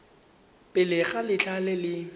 pele ga letlha le le